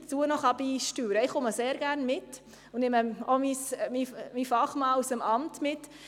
Ich begleite Sie sehr gerne und nehme auch meinen Fachmann aus dem Amt mit.